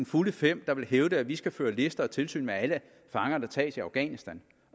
fulde fem der vil hævde at vi skal føre lister og tilsyn med alle fanger der tages i afghanistan